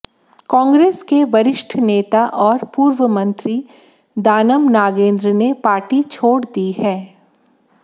कांग्रेस के वरिष्ठ नेता और पूर्व मंत्री दानम नागेंद्र ने पार्टी छोड़ दी है